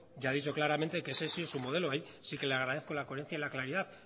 ya ha dicho claramente que ese ha sido su modelo ahí sí que la agradezco la coherencia y la claridad